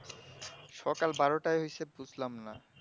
সকাল বারোটায় হয়েছে বুঝলামনা